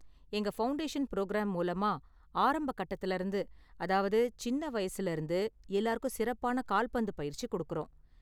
எங்க foundation programme மூலமா ஆரம்ப கட்டத்துல இருந்து அதாவது சின்ன வயசுல இருந்து எல்லாருக்கும் சிறப்பான கால்பந்து பயிற்சி கொடுக்கறோம்.